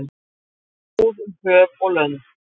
Glóir sól um höf og lönd.